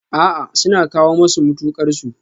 A'a, suna kawo masu mutuƙar su